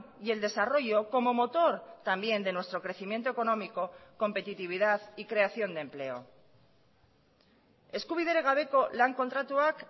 y el desarrollo como motor también de nuestro crecimiento económico competitividad y creación de empleo eskubiderik gabeko lan kontratuak